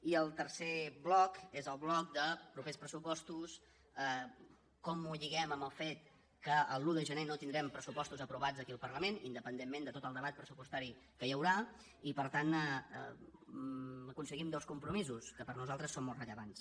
i el tercer bloc és el bloc de propers pressupostos com ho lliguem amb el fet que l’un de gener no tindrem pressupostos aprovats aquí al parlament independentment de tot el debat pressupostari que hi haurà i per tant aconseguim dos compromisos que per a nosaltres són molt rellevants